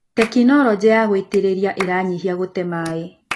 Tekinologĩ ya gũitĩrĩria iranyihia gũte maĩ.